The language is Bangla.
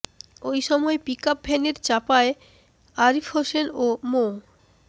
ওই সময় পিকআপ ভ্যানের চাপায় আরিফ হোসেন ও মো